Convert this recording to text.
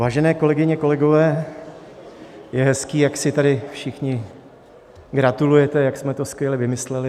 Vážené kolegyně, kolegové, je hezké, jak si tady všichni gratulujete, jak jsme to skvěle vymysleli.